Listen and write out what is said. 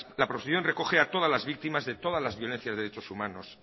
la proposición recoge a todas las víctimas de todas las violencias de derechos humanos